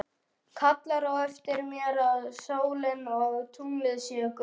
Kallar á eftir mér að sólin og tunglið séu gull.